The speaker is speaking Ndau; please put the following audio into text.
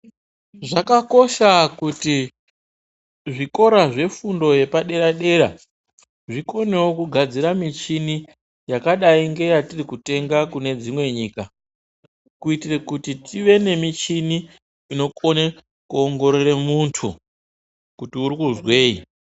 Zvakakosha kuti zvikora zvefundo yepadera-dera zvikonewo kugadzira michini yakadai ngeyatiri kutenga kune dzimwe nyika, kuitire kuti tive nemichini inokone kuongorore muntu kuti urikuzwei.